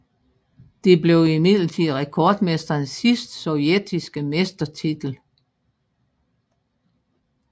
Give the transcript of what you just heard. Det blev imidlertid rekordmestrenes sidste sovjetiske mestertitel